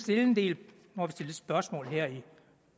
spørgsmål her i